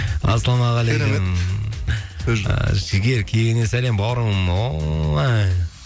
ассалаумағалекум сөз жоқ жігер кегеннен сәлем бауырым ой